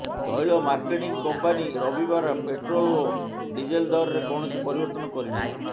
ତୈଳ marketing company ରବିବାର petrol ଓ ଡିଜେଲ୍ ଦରରେ କୌଣସି ପରିବର୍ତ୍ତନ କରିନାହିଁ